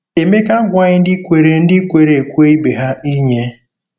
Emeka agwaghị ndị kwere ndị kwere ekwe ibe ha inye.